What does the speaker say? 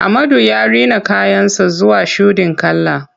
Ahmadu ya rina kayan sa zuwa shuɗin kala.